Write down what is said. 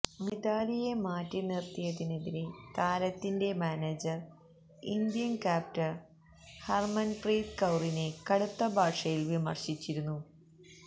മിതാലിയെ മാറ്റിനിര്ത്തിയതിനെതിരേ താരത്തിന്റെ manager Indian captain Harmanpreet കൌറിനെ കടുത്ത ഭാഷയില് വിമര്ശിച്ചിരുന്നു